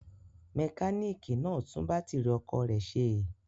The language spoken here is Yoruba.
Mẹkáníkì náà tún bátírí ọ̀kadà rẹ̀ ṣe?